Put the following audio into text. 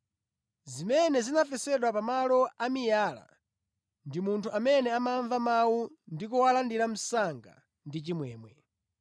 Zimene zinafesedwa pa malo amiyala ndi munthu amene amamva mawu ndi kuwalandira msanga ndi chimwemwe.